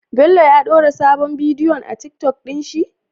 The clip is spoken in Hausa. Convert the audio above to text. Bello ya dora sabon bidiyo a tiktok din shi?